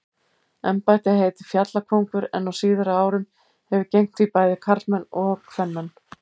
Embættið heitir fjallkóngur en á síðari árum hafa gegnt því bæði karlmenn og kvenmenn.